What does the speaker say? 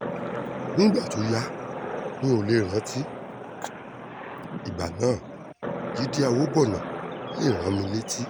nígbà tó yá mi ò lè rántí ìgbà náà jíde àwòbọ́nà lè rán mi létí